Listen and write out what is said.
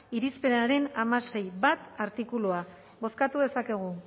batera zuzenketak izan dituzten irizpenaren artikuluak bozkatu dezakegu